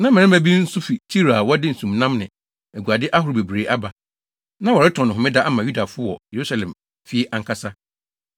Na mmarima bi nso fi Tiro a wɔde nsumnam ne aguade ahorow bebree aba. Na wɔretɔn no Homeda ama Yudafo wɔ Yerusalem fie ankasa!